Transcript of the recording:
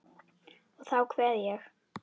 Og þá kveð ég.